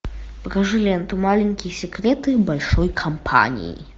покажи ленту маленькие секреты большой компании